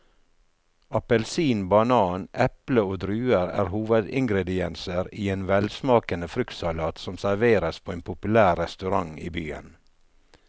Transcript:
Appelsin, banan, eple og druer er hovedingredienser i en velsmakende fruktsalat som serveres på en populær restaurant i byen.